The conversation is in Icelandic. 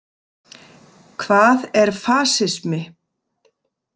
Hvað er fasismi?